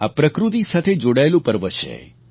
આ પ્રકૃતિ સાથે જોડાયેલું પર્વ છે